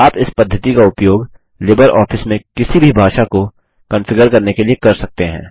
आप इस पद्धति का उपयोग लिबरऑफिस में किसी भी भाषा को कंफिगर करने के लिए कर सकते हैं